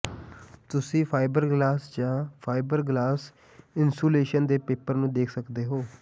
ਤੁਸੀਂ ਫਾਈਬਰਗਲਾਸ ਜਾਂ fibreglass insulation ਦੇ ਪੇਪਰ ਨੂੰ ਦੇਖ ਸਕਦੇ ਹੋ